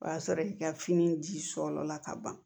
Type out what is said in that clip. O y'a sɔrɔ i ka fini ji sɔla ka ban